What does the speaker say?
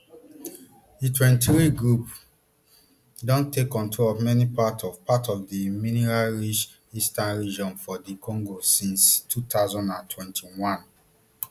di mtwenty-three group don take control of many parts of parts of di mineralrich eastern region of dr congo since two thousand and twenty-one